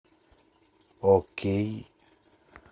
окей